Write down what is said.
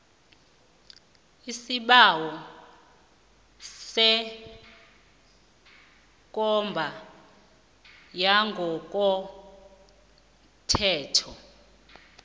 isibawo sekomba yangokomthetho